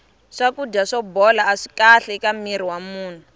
swakudya swo bola aswi kahle eka mirhi wa munhu